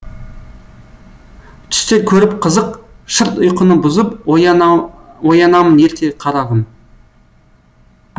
түстер көріп қызық шырт ұйқыны бұзып оянамын ерте қарағым